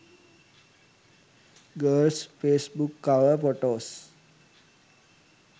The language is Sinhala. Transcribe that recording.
girls facebook cover photos